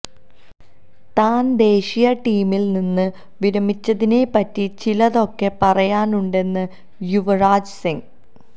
താൻ ദേശീയ ടീമിൽ നിന്ന് വിരമിച്ചതിനെപ്പറ്റി ചിലതൊക്കെ പറയാനുണ്ടെന്ന് യുവരാജ് സിംഗ്